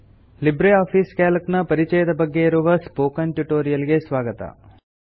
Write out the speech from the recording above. Libre office Calc ನ ಪರಿಚಯದ ಬಗ್ಗೆ ಇರುವ ಸ್ಪೋಕನ್ ಟ್ಯುಟೋರಿಯಲ್ ಗೆ ಸ್ವಾಗತ